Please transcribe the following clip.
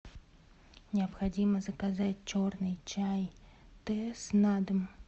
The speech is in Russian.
необходимо заказать черный чай тесс на дом